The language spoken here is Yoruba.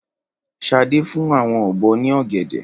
Ṣadé fún àwọn ọ̀bọ ní ọ̀gẹ̀dẹ̀.